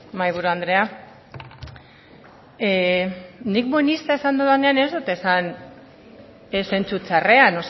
mahaiburu andrea nik buenista esan dudanean ez dut esan ez zentzu txarrean